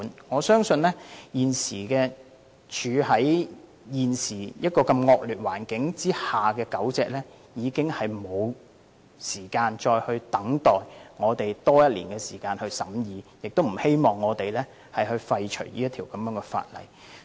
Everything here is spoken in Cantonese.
我相信現時處於惡劣環境下的狗隻已沒有時間再等我們多花1年時間審議，亦不希望我們廢除這項修訂規例。